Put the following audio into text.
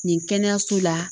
Nin kɛnɛyaso la